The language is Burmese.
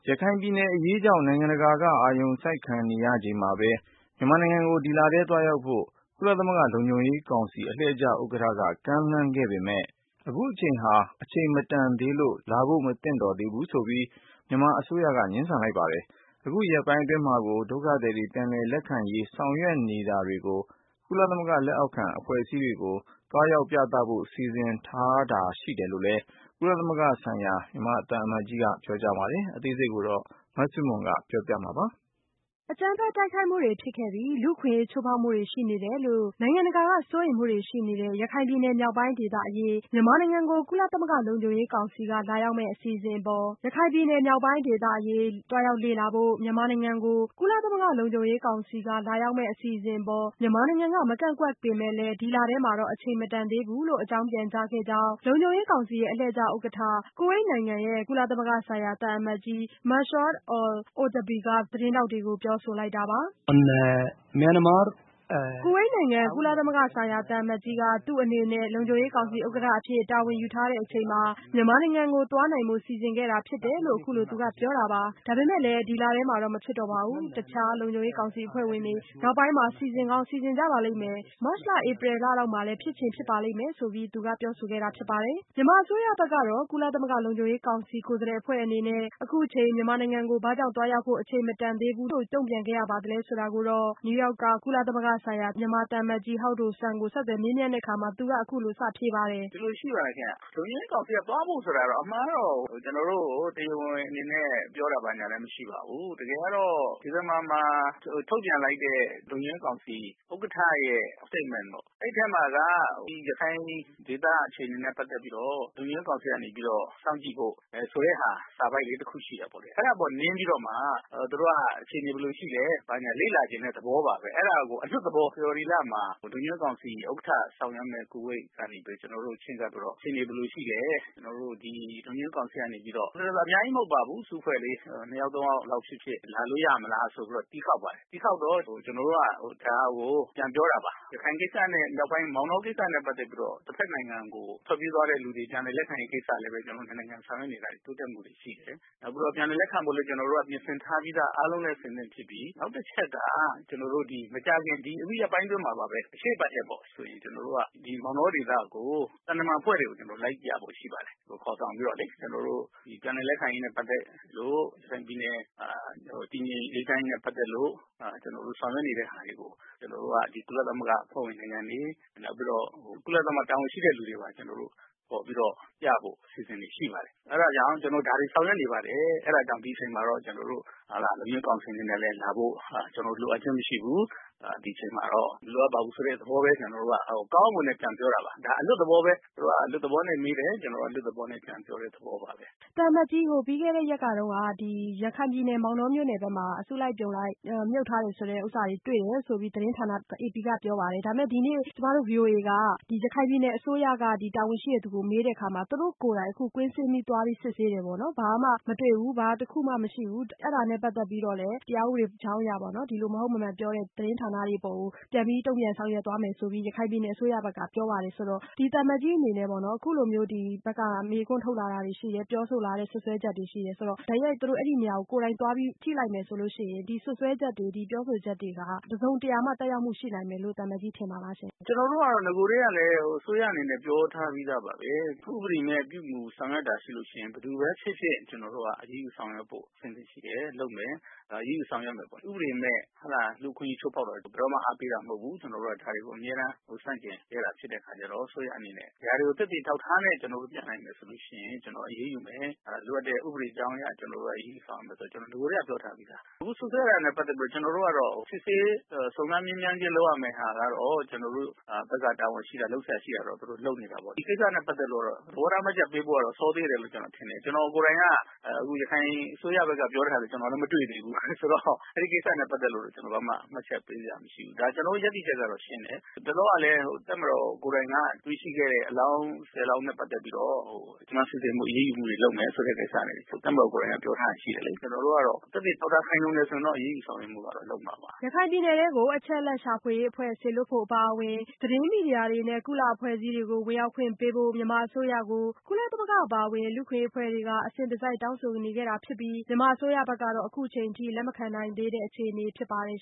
ရခိုင်ပြည်နယ်အရေးကြောင့် နိုင်ငံတကာက အာရုံစိုက်ခံနေရချိန်မှာပဲ မြန်မာနိုင်ငံကို ဒီလထဲသွားရောက်ဖို့ ကုလသမဂ္ဂ လုံခြုံရေး ကောင်စီအလှည့်ကျဥက္ကဋ္ဌက ကမ်းလှမ်းခဲ့ပေမဲ့ အခုအချိန်ဟာ အချိန်မတန်သေးလို့ လာဖို့မသင့်တော်သေးဘူးဆိုပြီး မြန်မာအစိုးရက ငြင်းဆန်လိုက်ပါတယ်။ အခုရက်ပိုင်း အတွင်းမှာကို ဒုက္ခသည်တွေ ပြန်လည်လက်ခံရေး ဆောင်ရွက်နေတာတွေကို ကုလသမဂ္ဂ လက်အောက်ခံအဖွဲ့တွေကို သွားရောက်ပြသဖို့ စီစဉ်ထားတာလည်းရှိတယ်လို့ ကုလသမဂ္ဂဆိုင်ရာ မြန်မာသံအမတ်ကြီးက ပြောပါတယ်။ အသေးစိတ် မဆုမွန် ဆက်ပြောပြပါမယ်။ ဟုတ်ပါတယ်။ အကြမ်းဖက်တိုက်ခိုက်မှုတွေဖြစ်ခဲ့ပြီး လူ့အခွင့်အရေးချိုးဖောက်မှုတွေရှိနေတယ်လို နိုင်ငံတကာ စိုးရိမ်မှုတွေရှိနေတဲ့ ရခိုင်ပြည်နယ်မြောက်ပိုင်းဒေသအရေး မြန်မာနိုင်ငံကို ကုလသမဂ္ဂ လုံခြုံရေး ကောင်စီက လာရောက်မယ့် အစီအစဉ်အပေါ် မြန်မာနိုင်ငံက မကန့်ကွက်ပေမဲ့လည်း ဒီလထဲမှာတော့ အချိန်မတန်သေးဘူးလို့ အကြောင်းပြန်ကြားခဲ့ကြောင်း လုံခြုံရေးကောင်စီရဲ့ အလှည့်ကျ ဥက္ကဋ္ဌ ကူဝိတ်နိုင်ငံက ကုလသမဂ္ဂဆိုင်ရာ သံအမတ်ကြီး Mansour al-Otaibi က သတင်းထောက်တွေကို ပြောဆိုလိုက်တာပါ။ ကူဝိတ်နိုင်ငံ ကုလသမဂ္ဂဆိုင်ရာသံအမတ်ကြီးက သူ့အနေနဲ့ လုံခြုံရေးကောင်စီဥက္ကဋ္ဌအဖြစ် တာဝန်ယူထားစဉ်မှာ မြန်မာနိုင်ငံကို သွားနိုင်ဖို့ စီစဉ်ခဲ့တာ ဖြစ်တယ်လို့သူကပြောတာပါ။ ဒါပေမဲ့လည်း ဒီလထဲမှာတော့ မဖြစ်တော့ပါဘူး။ တခြားလုံခြုံရေးကောင်စီ အဖွဲ့ဝင်တွေက နောက်ပိုင်းမှာ စီစဉ်ကောင်း စီစဉ်ကြပါလိမ့်မယ်။ မတ်လ၊ ဧပြီလလောက်မှာ ဖြစ်ချင်လည်း ဖြစ်ပါလိမ့်မယ်လို့ ပြောဆိုခဲ့တာဖြစ်ပါတယ်။ မြန်မာအစိုးရဘက်က ကုလသမဂ္ဂလုံခြုံရေးကောင်စီကိုယ်စားလှယ်အဖွဲ့အနေနဲ့ အခုချိန် မြန်မာနိုင်ငံကို ဘာကြောင့် သွားရောက်ဖို့ အချိန်မတန်သေးဘူးလို့ ဘာကြောင့်တုန့်ပြန်ခဲ့ရပါသလဲဆိုတာကို အမေရိကန်ပြည်ထောင်စု နယူးယောက်က ကုလသမဂ္ဂဆိုင်ရာ မြန်မာသံအမတ်ကြီး ဟောက်ဒိုဆွမ်းကို ဆက်သွယ်မေးမြန်းကြည့်ပါတယ်။ ကုလသမဂ္ဂဆိုင်ရာ မြန်မာသံအမတ်ကြီး ဟောက်ဒိုဆွမ်း။ ။ ဒီလိုရှိပါတယ်ခင်ဗျ။ လုံခြုံရေးကောင်စီက သွားဖို့ဆိုတာကတော့ အမှန်ကတော့ ကျနော်တို့ကို တရားဝင်အနေနဲ့ ပြောတာ ဘာညာလည်း မရှိပါဘူး။ တကယ်ကတော့ ဒီဇင်ဘာမှာ ထုတ်ပြန်လိုက်တဲ့ လုံခြုံရေးကောင်စီ ဥက္ကဌရဲ့ statement ပေါ့။ အဲဒီမှာက ဒီရခိုင်ဒေသအခြေအနေနဲ့ ပတ်သက်ပြီးတော့ လုံခြုံရေးကောင်စီကနေပြီးတော့ စောင့်ကြည့်ဖို့ ဆိုတဲ့ဟာ စာပိုဒ်လေးတခုရှိတယ်ပေါ့။ အဲဒါအပေါ် နင်းပြီးတော့မှ သူတို့က အခြေအနေဘယ်လိုရှိသလဲ ဘာညာလေ့လာချင်တဲ့သဘောပါပဲ။ အဲဒါကို အလွတ်သဘော ဖေဖော်ဝါရီလမှာ လုံခြုံရေးကောင်စီ ဥက္ကဌ ဆောင်ရွက်မယ့် ကူဝိတ်ကနေပြီးတော့ ကျနော်တို့ကို ချဉ်းကပ်ပြီးတော့ အခြေအနေဘယ်လိုရှိလဲ၊ ကျနော်တို့ ဒီ လုံခြုံရေးကောင်စီကနေပြီးတော့ အများကြီးမဟုတ်ပါဘူး၊ အစုအဖွဲ့လေး ၂ ယောက် ၃ ယောက်လောက် ဖြစ်ဖြစ် လာလို့ရမလားဆိုပြီးတော့ တီးခေါက်ပါတယ်။ တီးခေါက်တော့ ကျနော်တို့က ဒါကို ပြန်ပြောတာပါ။ ရခိုင်ကိစ္စနဲ့ မြောက်ပိုင်း မောင်တောကိစ္စနဲ့ ပတ်သက်ပြီးတော့ တဖက်နိုင်ငံကို ထွက်ပြေးသွားတဲ့လူတွေ ပြန်လည်လက်ခံရေးကိစ္စလည်းပဲ ကျနော်တို့ ၂ နိုင်ငံ ဆောင်ရွက်နေတာတွေ၊ တိုးတက်မှုတွေရှိတယ်။ နောက်ပြီးတော့ ပြန်လည် လက်ခံဖို့လည်း ကျနော်တို့က ပြင်ဆင်ထားပြီးသား အားလုံးလည်း အဆင်သင့်ဖြစ်ပြီ။ နောက် တချက်က ကျနော်တို့ ဒီ မကြာခင် ဒီအခုရက်ပိုင်းအတွင်းမှာပါပဲ။ အရှေ့အပတ်ထဲပေါ့ ဆိုရင် ကျနော်တို့က ဒီမောင်တောဒေသကို သံတမန်အဖွဲ့တွေကို ကျနော်တု့ိက လိုက်ပြဖို့ရှိပါတယ်။ ခေါ်ဆောင်ပြီးတော့လေ။ ကျနော်တို့ ပြန်လည်လက်ခံရေးနဲ့ ပတ်သက်လို့ ရခိုင်ပြည်နယ် တည်ငြိမ်အေးချမ်းရေး နဲ့ ပတ်သက်လို့ ကျနော်တို့ ဆောင်ရွက်နေတဲ့ဟာတွေကို ကျနော်တို့က ဒီကုလသမဂ္ဂအဖွဲ့ဝင် နိုင်ငံတွေ၊ နောက်ပြီးတော့ ကုလသမဂ္ဂတာဝန်ရှိတဲ့သူတွေပါ ကျနော်တို့ ခေါ်ပြီးတော့ ပြဖို့ အစီအစဉ်တွေ ရှိပါတယ်။ အဲဒါကြောင့် ကျနော် ဒါတွေ ဆောင်ရွက်နေပါတယ်။ အဲဒါကြောင့် ဒီအချိန်မှာတော့ ကျနော်တု့ိ လုံခြုံရေးကောင်စီအနေနဲ့လည်း လာဖို့ ကျနော်တို့ လိုအပ်ခြင်းမရှိဘူး။ ဒီအချိန်မှာတော့ မလိုအပ်ပါဘူးဆိုတဲ့ သဘောပဲ ကျနော်တို့က ကောင်းကောင်းမွန်မွန်နဲ့ ပြန်ပြောတာပါ။ ဒါ အလွတ်သဘောပဲ သူတို့က အလွတ်သဘောနဲ့ မေးတယ်၊ ကျနော်တို့က အလွတ်သဘောနဲ့ ပြန်ပြောတဲ့ သဘောပါပဲ။ မဆုမွန်။ ။ သံအမတ်ကြီးရှင် ပြီးခဲ့တဲ့ရက်က ရခိုင်ပြည်နယ် မောင်တောမြို့နယ်ထဲမှာ အစုလိုက်အပြုံလိုက် မြုပ်ထားတာတွေ့တယ်ဆိုပြီး အေပီသတင်းဌာနက ပြောပါတယ်။ ကျမတို့ဗွီအိုအေက ရခိုင်ပြည်နယ်အစိုးရက တာဝန်ရှိတဲ့သူကို မေးတဲ့အခါမှာ အခုသူတို့ကိုယ်တိုင် ကွင်းဆင်းပြီးသွားပြီး စစ်ဆေးတယ်ပေါ့နော်။ ဘာမှ မတွေ့ဘူး။ အဲ့တော့ အဲ့တာနဲ့ပတ်သက်ပြီးတော့ သူတို့အနေနဲ့ ဒီလိုမဟုတ်မမှန်ပြောတဲ့သတင်းဌာနတွေကို တရားဥပဒေကြောင်းအရ အရေးယူဆောင်ရွက်မယ်လို့ ရခိုင်ပြည်နယ်အစိုးရဘက်ကပြောပါတယ်။ အဲ့တော့ သံအမတ်ကြီးအနေနဲ့ပေါ့နော် အခုလိုမျိုး ဒီဘက်က မေးခွန်းထုတ်လာတွေရှိတယ်။ ပြောဆိုလာတဲ့စွပ်စွဲချက်တွေရှိတယ်။ တကယ်လို့ အဲ့ဒီ့နေရာကို တိုက်ရိုက်သွားပြီး ကြည့်လိုက်မယ်ဆိုရင် ဒီစွပ်စွဲချက်တွေအပေါ် တစုံတရာ သက်ရောက်မှုရှိမယ်လို့ သံအမတ်ကြီးထင်ပါလား။ ကုလသမဂ္ဂဆိုင်ရာ မြန်မာသံအမတ်ကြီး ဟောက်ဒိုဆွမ်း။ ။ ကျနော်တို့ကတော့ နဂိုထဲကလည်း အစိုးရအနေနဲ့ ပြောထားပြီးသားပါပဲ။ ဥပဒေမဲ့ ပြုမူဆောင်ရွက်တာ ရှိလို့ရှိရင်လည်း ဘယ်သူပဲဖြစ်ဖြစ် ကျနော်တို့က အရေးယူဆောင်ရွက်ဖို့ အဆင်သင့်ရှိတယ် လုပ်မယ် အရေးယူဆောင်ရွက်မယ်ပေါ့။ ဥပဒေမဲ့ လူ့အခွင့်အရေးချိုးဖောက်တာတွေကို ဘယ်တော့မှ အားပေးတာမဟုတ်ဘူး။ ကျနော်တို့က ဒါတွေကို အမြဲတမ်း ဆန့်ကျင်ခဲ့တာ ဖြစ်တဲ့အခါကျတော့ အစိုးရအနေနဲ့ ဒါတွေကို သက်သေအထောက်အထားနဲ့ ကျနော်တို့ ပြနိုင်မယ်ဆိုရင် ကျနော် အရေးယူမယ်။ လိုအပ်တဲ့ ဥပဒေကြောင်းအရ အဲဒီ ကျနော်တို့ အရေးယူဆောင်ရွက်မယ်ဆိုတာကို ကျနော် နဂိုကတည်းက ပြောထားပြီးသား။ အခုစွပ်စွဲတာနဲ့ ပတ်သက်ပြီးတော့ ကျနော်တို့ကတော့ စစ်ဆေး စုံစမ်းမေးမြန်းခြင်းလုပ်ရမယ့်ဟာကတော့ ကျနော်တို့ဖက်က တာဝန်ရှိတာ၊ လုပ်စရာရှိတာတော့ သူတို့ လုပ်နေတာပေါ့။ ဒီကိစ္စနဲ့ ပတ်သက်လို့ကတော့ သဘောထားမှတ်ချက်ပေးဖို့ကတော့ စောသေးတယ်လို့ ကျနော်ထင်တယ်။ ကျနော် ကိုယ်တိုင်က အခု ရခိုင်အစိုးရဖက်က ပြောတာလည်း ကျနော်မသိသေးဘူးဆိုတော့ အဲဒီကိစ္စနဲ့ ပတ်သက်ပြီးတော့ ကျနော် ဘာမှ မှတ်ချက်ပေးစရာမရှိဘူး။ ဒါ ကျနော်တို့ရပ်တည်ချက်ကတော့ ရှင်းတယ်။ ဟိုတလောကလည်း တပ်မတော်ကိုယ်တိုင်က တွေ့ရှိခဲ့တဲ့ အလောင်း ၁၀ လောင်းနဲ့ ပတ်သက်ပြီးတော့ စုံစမ်းစစ်ဆေးမှု အရေးယူတွေလုပ်မယ်ဆိုတဲ့ ကိစ္စကို တပ်မတော်ကိုယ်တိုင်က ပြောထားတာတွေ ရှိတယ်လေ။ ကျနော်တို့ကတော့ သက်သေအထောက်အထား ခိုင်လုံတယ်ဆိုရင်တော့ အရေးယူဆောင်ရွက်မှုကတော့ လုပ်မှာပါ။ ရခိုင်ပြည်နယ်ကို အချက်အလက်ရှာဖွေရေးအဖွဲ့ စေလွှတ်ဖို့အပါအဝင် သတင်းမီဒီယာတွေနဲ့ ကုလအဖွဲ့အစည်းတွေကို ဝင်ရောက်ခွင့်ပေးဖို့ မြန်မာအစိုးရကို ကုလသမဂ္ဂအပါအဝင် လူ့အခွင့်အရေးအဖွဲ့တွေက အစဉ်တစိုက်တောင်းဆိုနေခဲ့တာဖြစ်ပြီး မြန်မာအစိုးရဘက်ကတော့ လက်မခံနိုင်သေးတဲ့အခြေအနေ ဖြစ်ပါတယ်